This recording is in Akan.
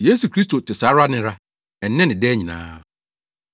Yesu Kristo te saa ara nnɛra, nnɛ ne daa nyinaa.